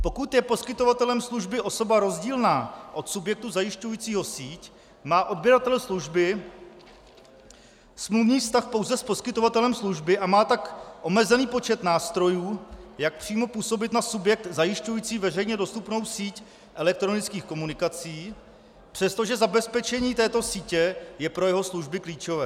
Pokud je poskytovatelem služby osoba rozdílná od subjektu zajišťujícího síť, má odběratel služby smluvní vztah pouze s poskytovatelem služby a má tak omezený počet nástrojů, jak přímo působit na subjekt zajišťující veřejně dostupnou síť elektronických komunikací, přestože zabezpečení této sítě je pro jeho služby klíčové.